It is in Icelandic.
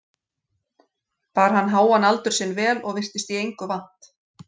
Bar hann háan aldur sinn vel og virtist í engu vant.